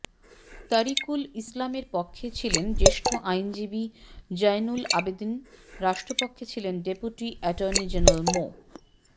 তরিকুল ইসলামের পক্ষে ছিলেন জ্যেষ্ঠ আইনজীবী জয়নুল আবেদিন রাষ্ট্রপক্ষে ছিলেন ডেপুটি এটর্নি জেনারেল মো